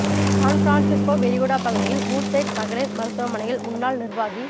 San Francisco விரிகுடா பகுதியில் Woodside மகளிர் மருத்துவமனையில் முன்னாள் நிர்வாகி